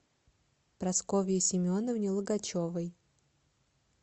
прасковье семеновне логачевой